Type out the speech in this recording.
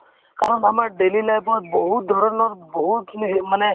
কাৰণ আমাৰ daily life ত বহুত ধৰণৰ বহুতখিনি সেই মানে